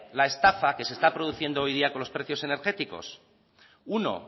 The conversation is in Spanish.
la estafa que se está produciendo hoy en día con los precios energéticos uno